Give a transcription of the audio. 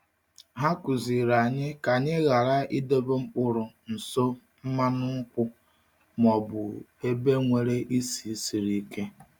Ha kụziiri anyị ka anyị ghara idobe mkpụrụ nso mmanụ nkwụ ma ọ bụ ebe nwere isi siri ike.